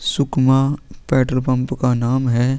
Sukma petrol pump का नाम है ।